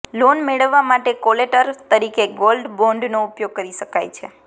loan મેળવવા માટે collateral તરીકે ગોલ્ડ બોન્ડનો ઉપયોગ કરી શકાય છે